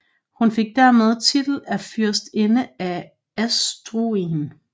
Hun fik dermed titel af Fyrstinde af Asturien